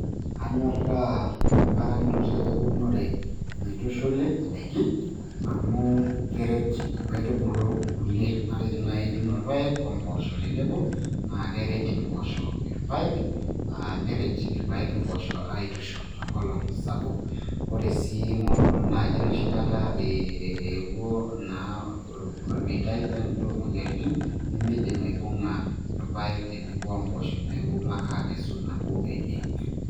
Anyorraa embarakinoto eunore naitushuli indaiki, amu keret inkaitubulu inkulie. Matejo naaji ituuno ilpaek wempoosho tenebo, naa keret empoosho ilpaek, neret ilpaek impoosho aitushurr tenkolong' sapuk. Ore sii naaji enoshi kata eewuo naa olmeitai loomoyiaritin, nemeidim aibung'a ilpaek tenebo wempoosho neeku ilo ake aikesu nabo enye.